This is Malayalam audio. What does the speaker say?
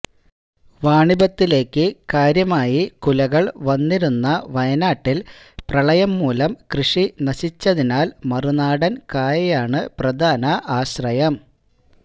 വാണിഭത്തിലേക്ക് കാര്യമായി കുലകൾ വന്നിരുന്ന വയനാട്ടിൽ പ്രളയംമൂലം കൃഷി നശിച്ചതിനാൽ മറുനാടൻ കായയാണ് പ്രധാന ആശ്രയം